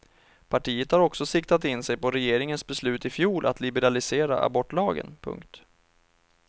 Partiet har också siktat in sig på regeringens beslut i fjol att liberalisera abortlagen. punkt